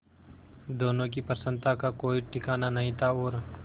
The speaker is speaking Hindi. दोनों की प्रसन्नता का कोई ठिकाना नहीं था और